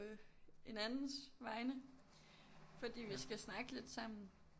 Øh en andens vegne fordi vi skal snakke lidt sammen